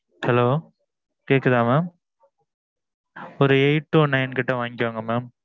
hello கேக்குதா mam ஒரு eight to nine கிட்ட வாங்கிக்கோங்க mam